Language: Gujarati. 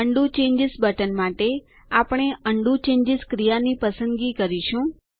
ઉંડો ચેન્જીસ બટન માટે આપણે ઉંડો ચેન્જીસ ક્રિયાની પસંદગી કરીશું